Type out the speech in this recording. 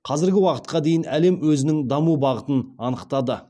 қазіргі уақытқа дейін әлем өзінің даму бағытын анықтады